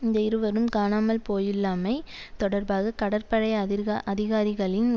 இந்த இருவரும் காணாமல் போயுள்ளமை தொடர்பாக கடற்படை அதிர்கஅதிகாரிகளின்